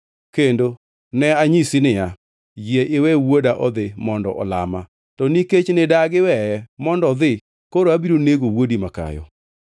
kendo ne anyisi niya, “Yie iwe wuoda odhi, mondo olama.” To nikech nidagi weye mondo odhi; koro abiro nego wuodi makayo.’ ”